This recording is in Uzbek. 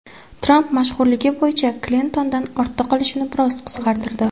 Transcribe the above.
Tramp mashhurligi bo‘yicha Klintondan ortda qolishini biroz qisqartirdi.